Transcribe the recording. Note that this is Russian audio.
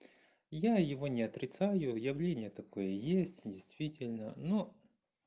я его не отрицаю явление такое есть действительно но